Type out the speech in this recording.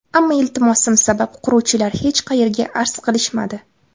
Ammo iltimosim sabab quruvchilar hech qayerga arz qilishmadi.